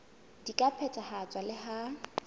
di ka phethahatswa le ha